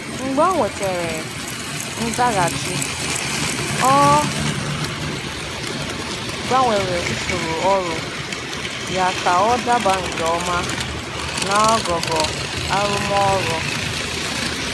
Mgbe o nwetara nzaghachi, ọ gbanwere usoro ọrụ ya ka ọ daba nke ọma naogogo arụmọrụ.